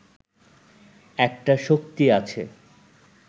একটা শক্তি আছে